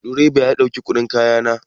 Direba ya karɓi kuɗin kaya na.